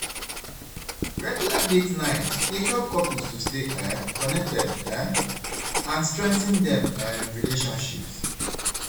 Regular date nights dey help couples to stay um connected um and strengthen dem um relationships.